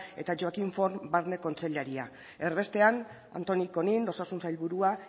eta joaquim forn barne kontseilaria erbestean antoni conill osasun sailburua